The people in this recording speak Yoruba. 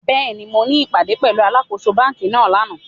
Béèni, mo ní ìpàdé pẹ̀lúu alákōso banki náà lánàá